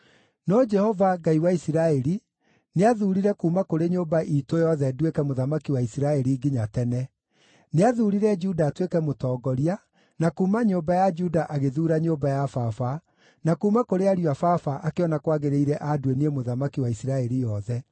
“No Jehova, Ngai wa Isiraeli, nĩathuurire kuuma kũrĩ nyũmba iitũ yothe nduĩke mũthamaki wa Isiraeli nginya tene. Nĩathuurire Juda atuĩke mũtongoria, na kuuma nyũmba ya Juda agĩthuura nyũmba ya baba, na kuuma kũrĩ ariũ a baba akĩona kwagĩrĩire aandue niĩ mũthamaki wa Isiraeli yothe.